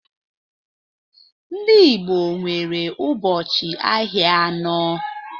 Ndị Igbo nwere ụbọchị ahịa anọ